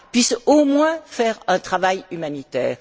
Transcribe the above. puissent au moins faire un travail humanitaire.